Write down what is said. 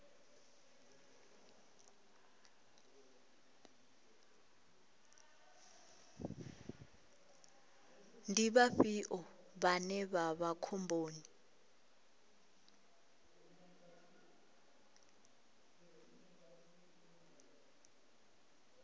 ndi vhafhio vhane vha vha khomboni